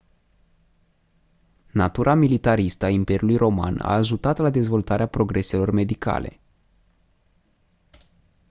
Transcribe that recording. natura militaristă a imperiului roman a ajutat la dezvoltarea progreselor medicale